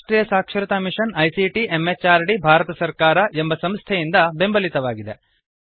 ಇದುರಾಷ್ಟ್ರಿಯ ಸಾಕ್ಷರತಾ mission ICT MHRD Bharat ಸರ್ಕಾರ ಎಂಬ ಸಂಸ್ಥೆಯಿಂದ ಬೆಂಬಲಿತವಾಗಿದೆ